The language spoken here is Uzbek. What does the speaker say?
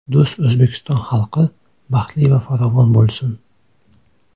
Do‘st O‘zbekiston xalqi baxtli va farovon bo‘lsin!